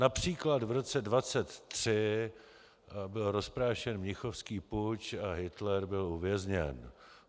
Například v roce 1923 byl rozprášen mnichovský puč a Hitler byl uvězněn.